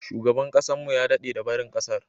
Shugaban kasar mu ya dade da barin kasar.